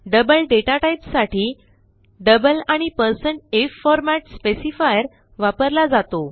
double डेटाटाईपसाठी double आणि160lf format specifier वापरला जातो